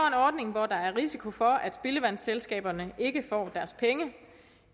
en ordning hvor der er risiko for at spildevandsselskaberne ikke får deres penge